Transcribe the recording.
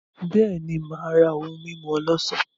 Beeni, Maa ra ohun mimu olosan.